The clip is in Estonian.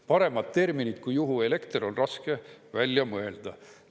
Paremat terminit kui "juhuelekter" on raske välja mõelda.